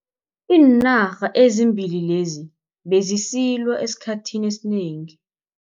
Iinarha ezimbili lezi bezisilwa esikhathini esinengi.